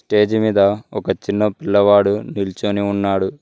Stage మీద ఒక చిన్న పిల్లవాడు నిల్చొని ఉన్నాడు.